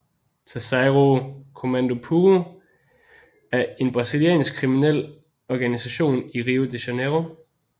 Terceiro Comando Puro er en brasiliansk kriminel organisation i Rio de Janiero